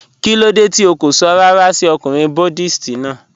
Kilódé tí ó kó sọ̀ ràrà sí ọ̀kùnrin Buddhist náà?